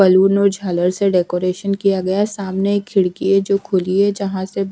balloon और झालर से डेकोरेशन किया गया है सामने एक खिड़की है जो खुली है जहां से--